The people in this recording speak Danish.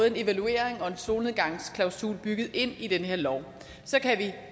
en evaluering og en solnedgangsklausul bygget ind i den her lov så kan vi